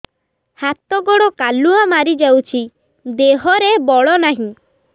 ହାତ ଗୋଡ଼ କାଲୁଆ ମାରି ଯାଉଛି ଦେହରେ ବଳ ନାହିଁ